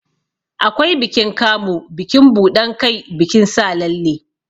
Akwai bikin Kamu, bikin buɗan kai, bikin sa lalle.